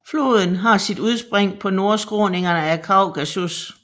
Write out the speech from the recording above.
Floden har sit udspring på nordskråningerne af Kaukasus